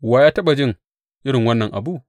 Wa ya taɓa jin irin wannan abu?